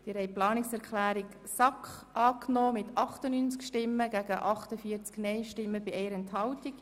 Sie haben die Planungserklärung 5 der SAK angenommen mit 98 gegen 48 Stimmen bei 1 Enthaltung.